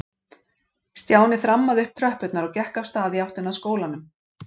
Stjáni þrammaði upp tröppurnar og gekk af stað í áttina að skólanum.